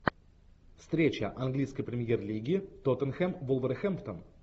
встреча английской премьер лиги тоттенхэм вулверхэмптон